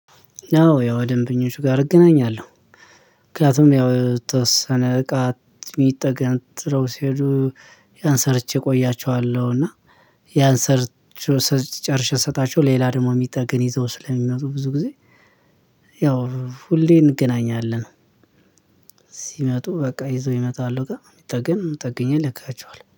ያው ከደንበኞች ጋር እገናኛለሁ። ምክኒያቱም ያው የተወሰነ እቃ ተጋትረው ሲሄዱ ያን ሰርቼ እቆያቸዋለሁ። እና ያንሰርቼ ጨርሼ ስሰጣቸው ሌላ ደግሞ የሚጠገን ይዘው ስለሚመጡ ብዙ ጊዜ። ያው ሁሌ እንገናኛለን። ሲመጡ በቃ ይዞ ይመጣሉ ግን ጠገኝ ጠግኘ እልካቸዋለሁ